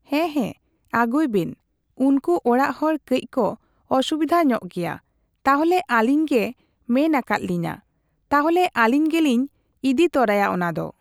ᱦᱮᱸ ᱦᱮᱸ ᱟᱹᱜᱩᱭ ᱵᱮᱱ᱾ ᱩᱱᱠᱩ ᱚᱲᱟᱜ ᱦᱚᱲ ᱠᱟᱹᱡ ᱠᱚ ᱚᱥᱩᱵᱤᱫᱟ ᱧᱚᱜ ᱜᱮᱭᱟ, ᱛᱟᱦᱞᱮ ᱟᱹᱞᱤᱧ ᱜᱮ ᱢᱮᱱ ᱟᱠᱟᱫ ᱞᱤᱧᱟᱹ ᱾ ᱛᱟᱦᱞᱮ ᱟᱹᱞᱤᱧ ᱜᱮᱞᱤᱧ ᱤᱫᱤ ᱛᱚᱨᱟᱭᱟ ᱚᱱᱟ ᱫᱚ᱾